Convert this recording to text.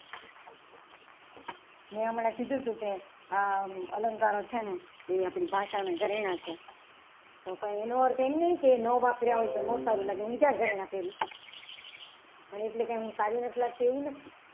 મેં હમણાં કીધું હતું કે અલંકાર છે ને એ આપણી ભાષાના ઘરેણા છે તો એનો અર્થ એમ નહીં કે ના વાપર્યા હોય તો સારું લાગે હું ક્યાં ઘરેણા પહેરું છું. પણ એટલે કે હું સારું નથી લાગતી એવું નથી.